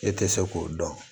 E tɛ se k'o dɔn